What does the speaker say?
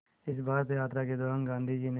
इस भारत यात्रा के दौरान गांधी ने